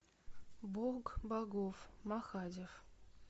бог богов махадев